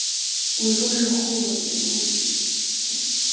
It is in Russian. ой как же холодно на улице это п